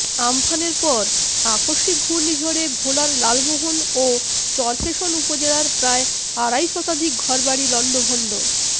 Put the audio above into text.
আম্পানের পর আকস্মিক ঘূর্ণিঝড়ে ভোলার লালমোহন ও চরফ্যাসন উপজেলার প্রায় আড়াই শতাধিক ঘরবাড়ি লণ্ডভণ্ড